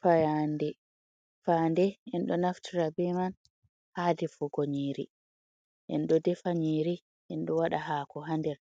Fayande, fande en ɗo naftira be man ha defugo nyiri, en ɗo defa nyiri, en ɗo waɗa hako ha nder,